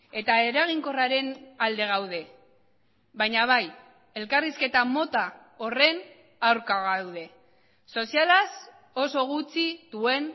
eta eraginkorraren alde gaude baina bai elkarrizketa mota horren aurka gaude sozialaz oso gutxi duen